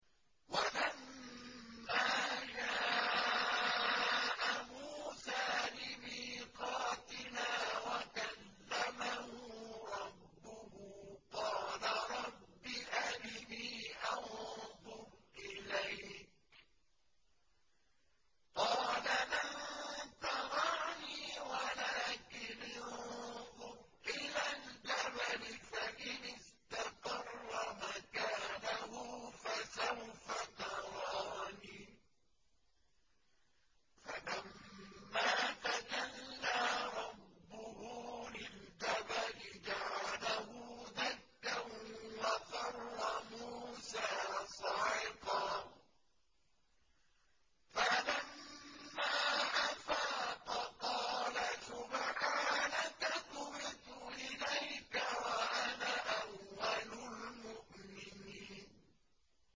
وَلَمَّا جَاءَ مُوسَىٰ لِمِيقَاتِنَا وَكَلَّمَهُ رَبُّهُ قَالَ رَبِّ أَرِنِي أَنظُرْ إِلَيْكَ ۚ قَالَ لَن تَرَانِي وَلَٰكِنِ انظُرْ إِلَى الْجَبَلِ فَإِنِ اسْتَقَرَّ مَكَانَهُ فَسَوْفَ تَرَانِي ۚ فَلَمَّا تَجَلَّىٰ رَبُّهُ لِلْجَبَلِ جَعَلَهُ دَكًّا وَخَرَّ مُوسَىٰ صَعِقًا ۚ فَلَمَّا أَفَاقَ قَالَ سُبْحَانَكَ تُبْتُ إِلَيْكَ وَأَنَا أَوَّلُ الْمُؤْمِنِينَ